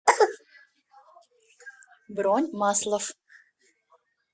бронь маслоф